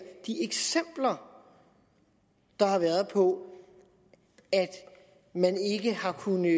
de eksempler der har været på at man ikke har kunnet